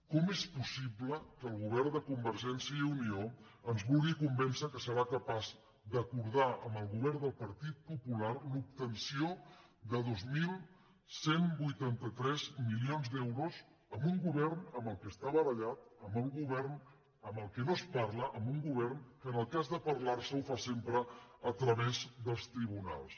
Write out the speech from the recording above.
com és possible que el govern de convergència i unió ens vulgui convèncer que se·rà capaç d’acordar amb el govern del partit popular l’obtenció de dos mil cent i vuitanta tres milions d’euros amb un govern amb el qual està barallat amb un govern amb el qual no es parla amb un govern que en el cas de parlar·se ho fa sempre a través dels tribunals